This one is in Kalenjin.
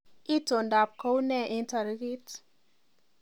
Itondoab kounee eng tarikit